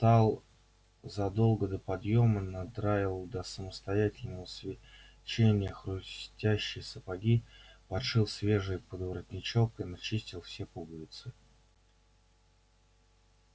он встал задолго до подъёма надраил до самостоятельного свечения хрустящие сапоги подшил свежий подворотничок и начистил все пуговицы